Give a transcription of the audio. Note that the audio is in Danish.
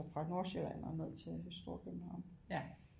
Fra Nordsjælland og ned til Storkøbenhavn